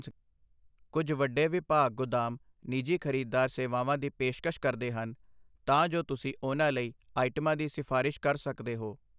ਕੁੱਝ ਵੱਡੇ ਵਿਭਾਗ ਗੁਦਾਮ ਨਿੱਜੀ ਖ਼ਰੀਦਦਾਰ ਸੇਵਾਵਾਂ ਦੀ ਪੇਸ਼ਕਸ਼ ਕਰਦੇ ਹਨ, ਤਾਂ ਜੋ ਤੁਸੀਂ ਉਨ੍ਹਾਂ ਲਈ ਆਈਟਮਾਂ ਦੀ ਸਿਫਾਰਸ਼ ਕਰ ਸਕਦੇ ਹੋ।